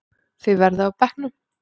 Þið verðið á bekknum!